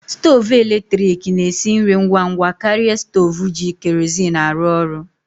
Stovu eletrik na-esi nri ngwa ngwa karịa stovu ji kerozin arụ orụ.